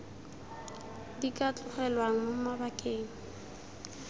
di ka tlogelwang mo mabakeng